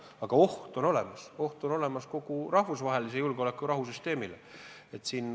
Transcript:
Aga oht on olemas kogu rahvusvahelise julgeoleku ja rahu süsteemile.